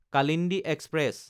Kalindi express